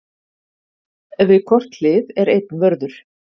Við hvort hlið er einn vörður.